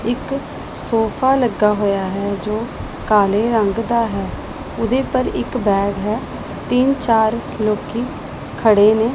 ਇੱਕ ਸੋਫਾ ਲੱਗਾ ਹੋਇਆ ਹੈ ਜੋ ਕਾਲੇ ਰੰਗ ਦਾ ਹੈ ਉਹਦੇ ਉਪਰ ਇੱਕ ਬੈਗ ਹੈ ਤਿੰਨ ਚਾਰ ਲੋਕੀ ਖੜੇ ਨੇ।